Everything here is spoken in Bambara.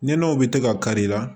Nɔnɔw bɛ to ka kari i la